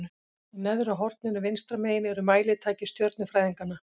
Í neðra horninu vinstra megin eru mælitæki stjörnufræðinganna.